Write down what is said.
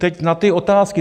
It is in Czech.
Teď na ty otázky.